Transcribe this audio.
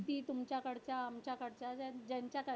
तुमच्याकडच्या आमच्याकडच्या ज्यांच्या